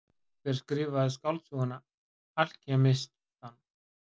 Hver skrifaði skáldsöguna Alkemistann?